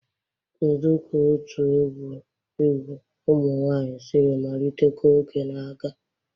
Kedu ka otu egwu egwu ụmụ nwanyị siri malite ka oge na-aga?